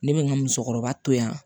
Ne bɛ n ka musokɔrɔba to yan